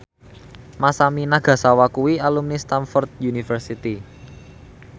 Masami Nagasawa kuwi alumni Stamford University